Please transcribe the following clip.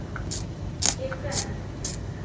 Ég hverf.